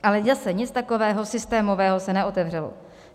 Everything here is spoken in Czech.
Ale zase nic takového systémového se neotevřelo.